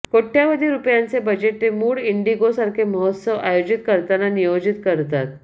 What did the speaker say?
कोट्यवधी रुपयांचे बजेट ते मूड इंडिगो सारखे महोत्सव आयोजित करताना नियोजित करतात